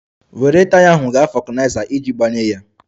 Were taya ahụ gaa vulkaniza iji gbanye ya!